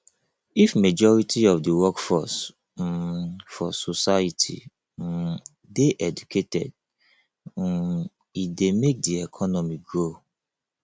if majority of the workforce um for society um de educated um e de make di economy grow